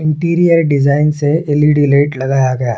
Interior design से L. E. D. Light लगाया गया है।